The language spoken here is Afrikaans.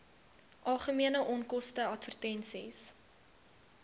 algemene onkoste advertensies